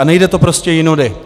A nejde to prostě jinudy.